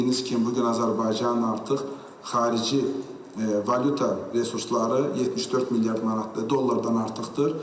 Bildiyiniz kimi, bu gün Azərbaycan artıq xarici valyuta resursları 74 milyard manatdan, dollardan artıqdır